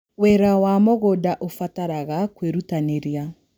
Wĩra wa mũgũnda ũbataraga kwĩrutanĩria.